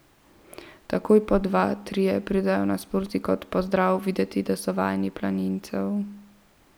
Takoj po dva, trije pridejo nasproti kot v pozdrav, videti je, da so vajeni planincev.